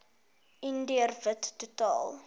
indiër wit totaal